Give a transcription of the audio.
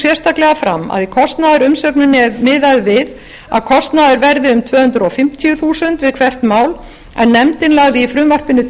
sérstaklega fram að í kostnaðarumsögninni er miðað við að kostnaður verði um tvö hundruð fimmtíu þúsund við hvert mál en nefndin lagði í frumvarpinu